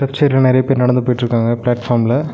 பிச்சர்ல நெறைய பேர் நடந்து போயிட்ருக்காங்க பிளாட்பார்ம்ல .